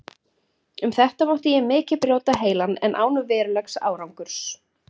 Um þetta mátti ég mikið brjóta heilann, en án verulegs árangurs.